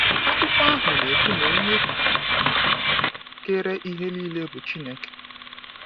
Akwụkwọ ahụ na ekwu na onye kere ihe niile bụ Chineke.